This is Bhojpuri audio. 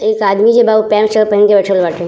एक आदमी बा जो उ पेंट शर्ट पहेन के बइठल बाटे।